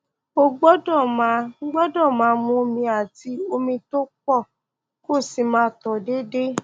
o gbọdọ máa gbọdọ máa mu omi àti omi tó pọ kó o sì máa tọ déédéé